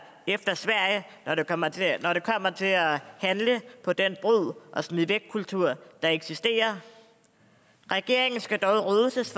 efter sverige når det kommer til at handle på den brug og smid væk kultur der eksisterer regeringen skal dog roses